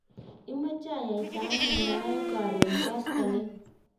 imeche ayaitano noe karon koskoleny?